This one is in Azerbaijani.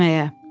İçməyə.